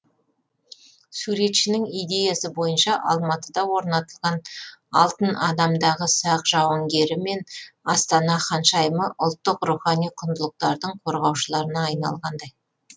суретшінің идеясы бойынша алматыда орнатылған алтын адамдағы сақ жауынгері мен астана ханшайымы ұлттық рухани құндылықтардың қорғаушыларына айналғандай